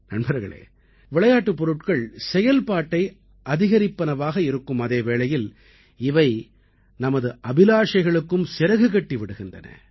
நண்பர்களே விளையாட்டுப் பொருட்கள் செயல்பாட்டை அதிகரிப்பவனவாக இருக்கும் அதே வேளையில் இவை நமது அபிலாஷைகளுக்கும் சிறகு கட்டி விடுகின்றன